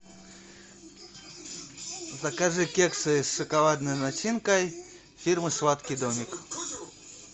закажи кексы с шоколадной начинкой фирмы сладкий домик